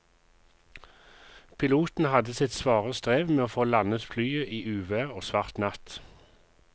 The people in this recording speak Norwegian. Piloten hadde sitt svare strev med å få landet flyet i uvær og svart natt.